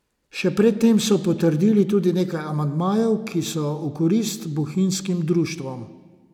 Še pred tem so potrdili tudi nekaj amandmajev, ki so v korist bohinjskim društvom.